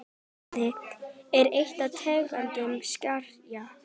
Boði: er ein tegund skerja.